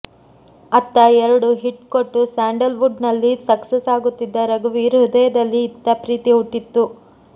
ಅತ್ತ ಎರಡು ಹಿಟ್ ಕೊಟ್ಟು ಸ್ಯಾಂಡಲ್ ವುಡ್ ನಲ್ಲಿ ಸಕ್ಸಸ್ ಆಗುತ್ತಿದ್ದ ರಘುವೀರ್ ಹೃದಯದಲ್ಲಿ ಇತ್ತ ಪ್ರೀತಿ ಹುಟ್ಟಿತ್ತು